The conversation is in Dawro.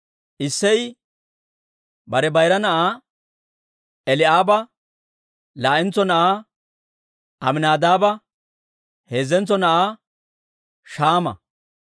Isseyi bare bayira na'aa Eli'aaba, laa'entso na'aa Aminaadaaba, heezzentso na'aa Shaama,